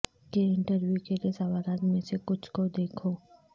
کے انٹرویو کے لئے سوالات میں سے کچھ کو دیکھو